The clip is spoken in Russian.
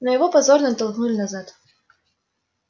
но его позорно оттолкнули назад